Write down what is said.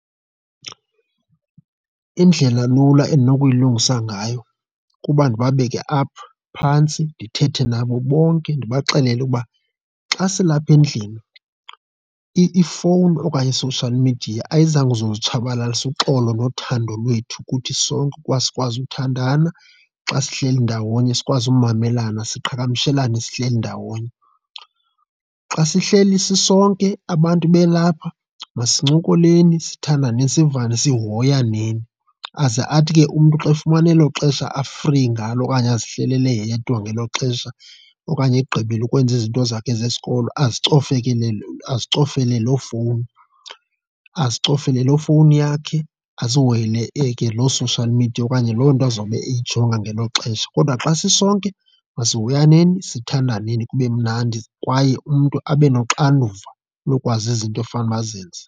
Indlela lula endinokuyilungisa ngayo kuba ndibeke apha phantsi ndithethe nabo bonke. Ndibaxelele ukuba xa silapha endlini ifowuni okanye i-social media ayizanga uzozitshabalalisa uxolo nothando lwethu kuthi sonke kwasikwazi uthandana xa sihleli ndawonye, sikwazi ukumelana siqhagamshelane sihleli ndawonye. Xa sihleli sisonke abantu belapha masincokoleni, sithandane, sivane, sihoyaneni. Aze athi ke umntu xa efumana elo xesha a-free ngalo okanye azihlelele yedwa ngelo xesha okanye egqibile ukwenza izinto zakhe zesikolo, azicofele loo fowuni, azicofele loo fowuni yakhe azihoyele ke loo-social media okanye loo nto azawube eyijonga ngelo xesha. Kodwa xa sisonke masihoyaneni, sithandaneni kube mnandi kwaye umntu abe noxanduva lokwazi izinto efanuba azenze.